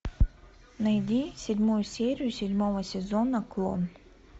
найди седьмую серию седьмого сезона клон